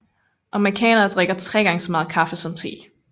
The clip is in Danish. Amerikanere drikker tre gange så meget kaffe som te